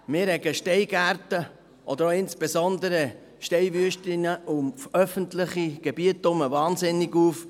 Über Steingärten oder insbesondere auch Steinwüsten um öffentliche Gebiete herum rege ich mich ausserordentlich auf.